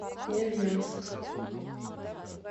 невьянск